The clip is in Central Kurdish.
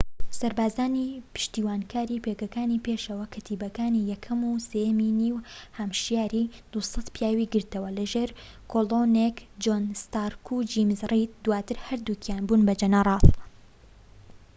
سەربازانی پشتیوانیکاری پێگەکانی پێشەوە کەتیبەکانی 1ەم و 3یەمی نیو هامشایەری 200 پیاوی گرتەوە، لە ژێر کۆڵۆنێل جۆن ستارک و جەیمس ڕید دواتر هەردووکیان بوون بە جەنەڕاڵ